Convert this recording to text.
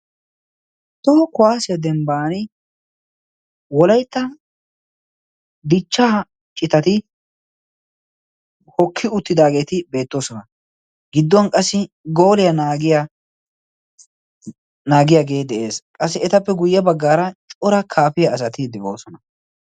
Toho kuwaasiyaa dembban wolaytta dichchaa citati hokki uttidaageeti beettoosona. gidduwn qassi gooliyaa aagiya naagiyaagee de'ees. qassi etappe guyye baggaara cora kaafiya asati de'oosona.